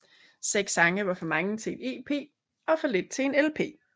Seks sange var for mange til en EP og for lidt til en LP